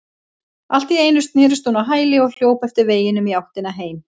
Allt í einu snerist hún á hæli og hljóp eftir veginum í áttina heim.